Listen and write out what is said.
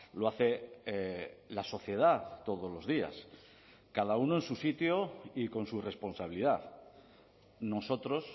lo hace la sociedad todos los días cada uno en su sitio y con su responsabilidad nosotros